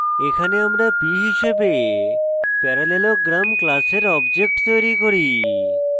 এখানে আমরা p হিসাবে parallelogram class objectof তৈরী করি